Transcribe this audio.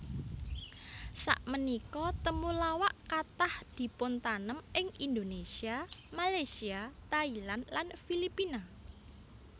Samenika temulawak kathah dipuntanem ing Indonesia Malaysia Thailand lan Filipina